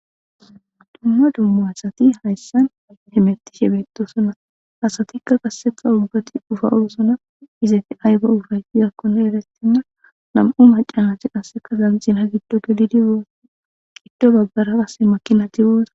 Ha dumma dumma asati hayssan hemettishe betosona asatikka qasseka ubbati ufayetosona izati ayba ufayis yakkone eretinna nam'u macanati qasseka zamxina giddo gelidi oo qiddo baggara asse makinati wooza.